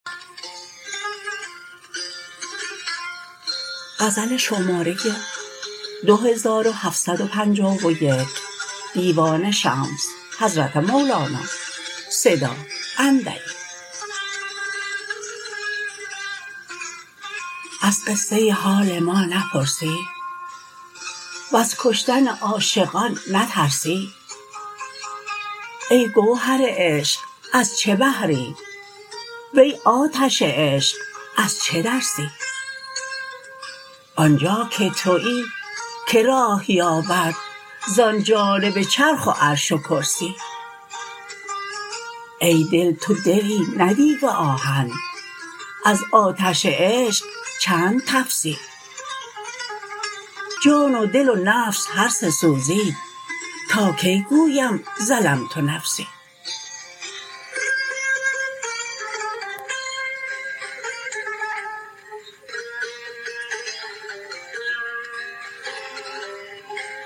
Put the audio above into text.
از قصه حال ما نپرسی وز کشتن عاشقان نترسی ای گوهر عشق از چه بحری وی آتش عشق از چه درسی آنجا که توی کی راه یابد زان جانب چرخ و عرش و کرسی ای دل تو دلی نه دیگ آهن از آتش عشق چند تفسی جان و دل و نفس هر سه سوزید تا کی گویم ظلمت نفسی